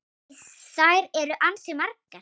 Því þær eru ansi margar.